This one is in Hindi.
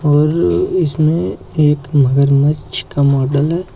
और इसमें एक मगरमच्छ का मॉडल है।